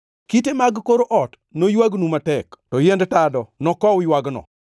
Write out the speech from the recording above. Kite mag kor ot noywagnu matek to yiend tado nokow ywagno.